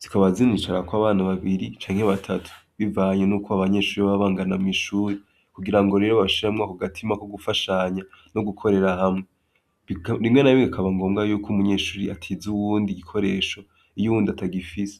zikabazinishara kw'abana babiri canke batatu bivanye n'uko abanyeshuri babangana mw'ishuri kugira ngo rero bashiramwa ku gatima ko gufashanya no gukorera hamwe bimwe na bige gikabangombwa yuko umunyeshuri atiza uwundi gikoresho iyo uwundi atagifise.